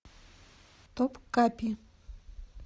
топ капи